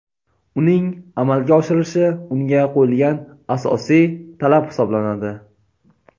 uning amalga oshirilishi unga qo‘yilgan asosiy talab hisoblanadi:.